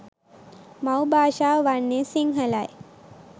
මව් භාෂාව වන්නේ සිංහලයි.